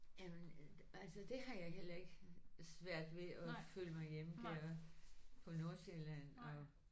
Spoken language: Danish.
Jamen altså de har jeg heller svært ved at føle mig hjemme der på Nordsjælland og